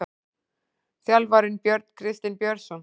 Þjálfarinn: Björn Kristinn Björnsson.